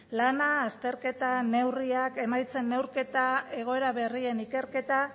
lana azterketa neurriak emaitzen neurketa egoera berrien ikerketa